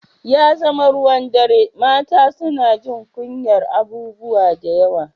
Ya zama ruwan dare mata suna jin kunyar abubuwa da yawa